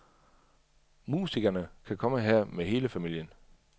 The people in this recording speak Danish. Musikerne kan komme her med hele familien.